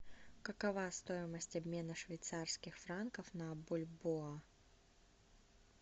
какова стоимость обмена швейцарских франков на бальбоа